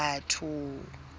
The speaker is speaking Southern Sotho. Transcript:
batho